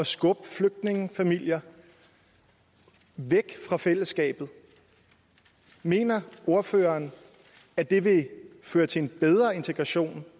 skubbe flygtningefamilier væk fra fællesskabet mener ordføreren at det vil føre til en bedre integration